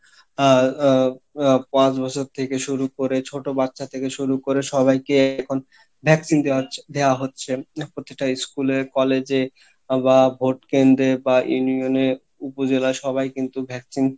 আহ আহ আহ পাঁচ বছর থেকে শুরু করে ছোটো বাচ্চা থেকে শুরু করে সবাইকে এখন vaccine দেওয়া হচ্ছে দেওয়া হচ্ছে এখন প্রতিটা school এ college এ বা vote কেন্দ্রে বা union এ উপজেলা সবাই কিন্তু vaccine